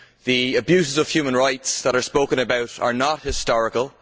The abuses of human rights that are spoken about are not historical.